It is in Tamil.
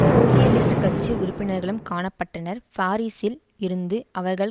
சோசியலிஸ்ட் கட்சி உறுப்பினர்களும் காண பட்டனர் பாரிஸில் இருந்து அவர்கள்